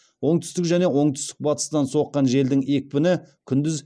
оңтүстік және оңтүстік батыстан соққан желдің екпіні күндіз